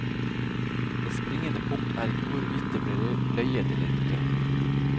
Det springende punkt er ikke hvorvidt det ble løyet eller ikke.